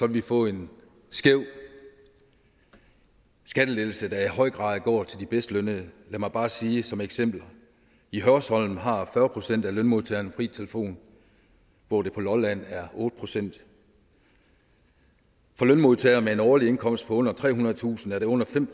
vi få en skæv skattelettelse der i høj grad går til de bedst lønnede lad mig bare sige som et eksempel i hørsholm har fyrre procent af lønmodtagerne fri telefon hvor det på lolland er otte procent for lønmodtagere med en årlig indkomst på under trehundredetusind er det under fem